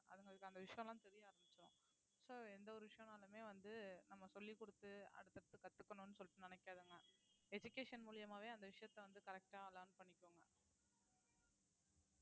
அதுங்களுக்கு அந்த விஷயம் எல்லாம் தெரிய ஆரம்பிச்சுரும் so எந்த ஒரு விஷயம்னாலுமே வந்து நம்ம சொல்லிக் கொடுத்து அடுத்தடுத்து கத்துக்கணும்ன்னு சொல்லிட்டு நினைக்காதுங்க education மூலியமாவே அந்த விஷயத்த வந்து correct ஆ learn பண்ணிக்குங்க